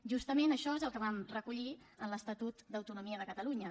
justament això és el que vam recollir en l’estatut d’autonomia de catalunya